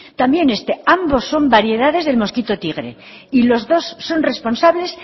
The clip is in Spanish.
también este ambos son variedades del mosquito tigre y los dos son responsables